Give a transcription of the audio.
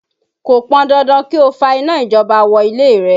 Kò pọn dandan kí ó fa iná ìjọba wọ ilé rẹ